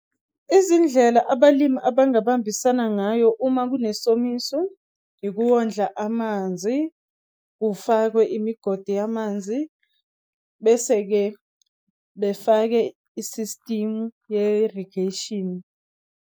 Izindlela abalimi abangahambisana ngayo uma kunesomiso, ikuwondla amanzi, kufakwe imigodi yamanzi, bese-ke befake i-system ye-rediation.